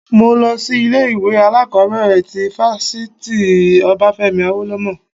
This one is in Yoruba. Mo lọ sí ilé ìwé alákọ̀bẹ̀rẹ̀ ti fáfitì Obafemi Awolowo.